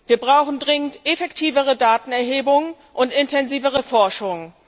Wir brauchen dringend effektivere Datenerhebungen und intensivere Forschung.